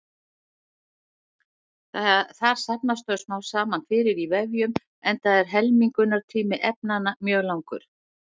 Þar safnast þau smám saman fyrir í vefjum enda er helmingunartími efnanna mjög langur.